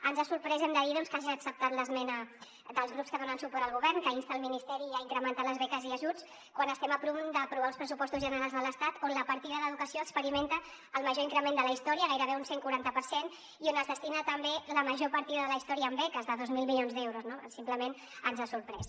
ens ha sorprès ho hem de dir que hagi acceptat l’esmena dels grups que donen suport al govern que insta el ministeri a incrementar les beques i ajuts quan estem a punt d’aprovar uns pressupostos generals de l’estat on la partida d’educació experimenta el major increment de la història gairebé un cent i quaranta per cent i on es destina també la major partida de la història a beques de dos mil milions d’euros no simplement ens ha sorprès